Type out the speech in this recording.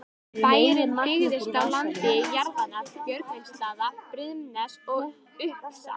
Bærinn byggðist upp á landi jarðanna Böggvisstaða, Brimness og Upsa.